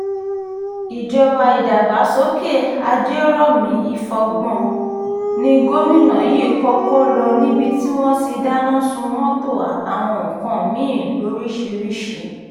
ìjọba ìdàgbàsókè àjèjòmi ìfọgbọ́n ní gómìnà yìí kọ́kọ́ lọ níbi tí wọ́n ti dáná sun mọ́tò àtàwọn nǹkan mí-ín lóríṣìírísì